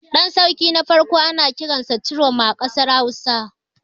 Ɗan sarki na farko ana kiransa Ciroma a ƙasar Hausa.